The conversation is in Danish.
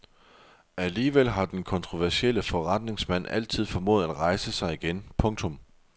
Alligevel har den kontroversielle forretningsmand altid formået at rejse sig igen. punktum